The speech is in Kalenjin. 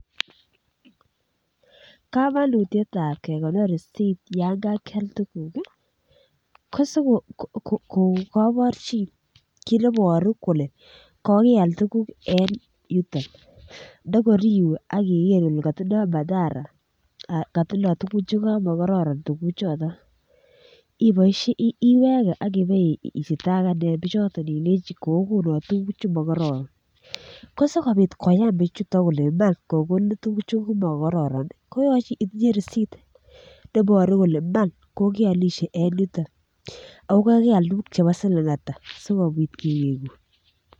Komonutietab kekonor risit yan kakial tuguk kosikou koborchin kit neboru kole kokeal tuguk en yuton ndokor iwe akiker ile kotindoo madhara kotindoo tuguk chekamokoron tuguk choton ibois iweke ak ibestakan bichoton ilenji kookonon tuguk chemokororon ko sikoyan bichuton kole iman kokonin tuguk chemokororon koyoche itinye risit nebore kole iman kokeolisie en yuton ako kokeal tuguk chebo siling ata asikobit kewegun